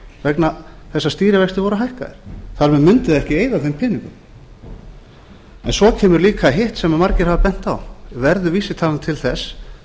vegna þess að stýrivextir voru hækkaðir þar með mundi það ekki eyða þeim peningum svo kemur líka hitt sem margir hafa bent á verður vísitalan til þess